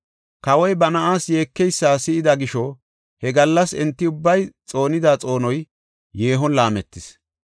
Kawoy ba na7aas yeekeysa si7ida gisho, he gallas enti ubbay xoonida xoonoy yeehon laametis.